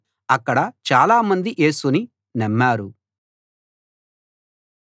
అక్కడ చాలా మంది యేసుని నమ్మారు